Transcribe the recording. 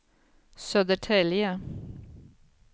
Södertälje